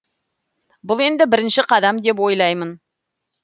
бұл енді бірінші қадам деп ойлаймын